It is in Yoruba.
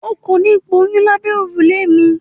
O kò ní gboyún lábẹ́ òrùlé mi.